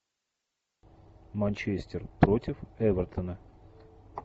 манчестер против эвертона